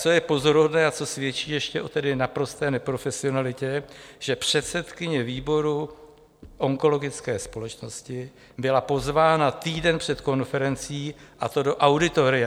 Co je pozoruhodné a co svědčí ještě o naprosté neprofesionalitě, že předsedkyně výboru onkologické společnosti byla pozvána týden před konferencí, a to do auditoria.